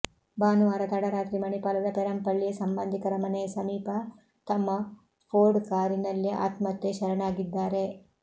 ಭಾನುವಾರ ತಡರಾತ್ರಿ ಮಣಿಪಾಲದ ಪೆರಂಪಳ್ಳಿಯ ಸಂಬಂಧಿಕರ ಮನೆಯ ಸಮೀಪ ತಮ್ಮ ಫೋರ್ಡ್ ಕಾರಿನಲ್ಲೇ ಆತ್ಮಹತ್ಯೆ ಶರಣಾಗಿದ್ದಾರೆ